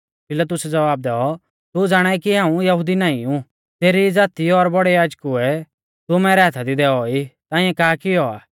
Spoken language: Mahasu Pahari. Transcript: पिलातुसै ज़वाब दैऔ तू ज़ाणाई कि हाऊं यहुदी नाईं ऊ तेरी ई ज़ाती और बौड़ै याजकुऐ तू मैरै हाथा दी दैऔ ई ताइंऐ का किऔ आ